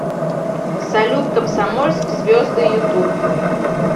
салют комсомольск звезды ютуб